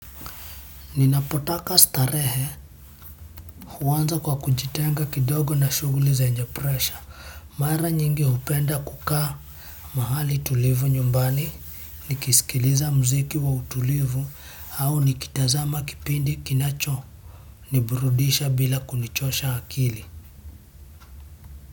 Ninapotaka starehe huanza kwa kujitenga kidogo na shughuli zenye presha. Mara nyingi hupenda kukaa mahali tulivu nyumbani, nikisikiliza muziki wa utulivu au nikitazama kipindi kinacho niburudisha bila kunichosha akili.